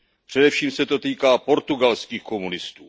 Především se to týká portugalských komunistů.